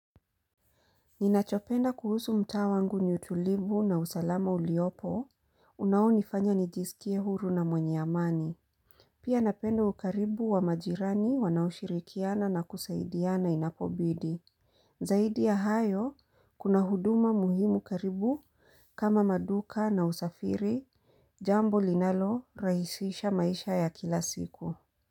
Ninachopenda kuhusu mtaa wangu ni utulivu na usalama uliopo, unaonifanya nijisikie huru na mwenye amani. Pia napenda ukaribu wa majirani wanaoshirikiana na kusaidiana inapobidi. Zaidi ya hayo, kuna huduma muhimu karibu kama maduka na usafiri jambo linalo rahisisha maisha ya kila siku.